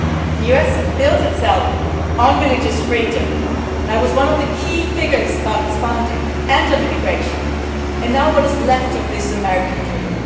The US built itself on religious freedom that was one of the key figures of its founding and on immigration. Now what is left of this American dream?